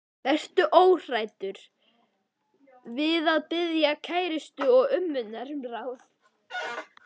Vertu óhræddur við að biðja kærustuna og ömmurnar um ráð.